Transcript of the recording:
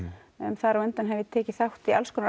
þar á undan hef ég tekið þátt í alls konar